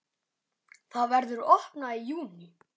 Það verður opnað í júní.